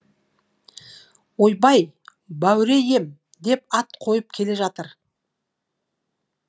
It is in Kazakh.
ойбай бауре ем деп ат қойып келе жатыр